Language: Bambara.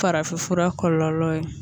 Farafinfura kɔlɔlɔ ye